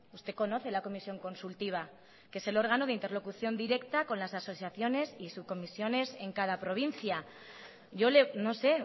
usted conoce la comisión consultiva que es el órgano de interlocución directa con las asociaciones y sus comisiones en cada provincia yo no sé